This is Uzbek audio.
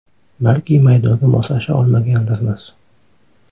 Balki maydonga moslasha olmagandirmiz.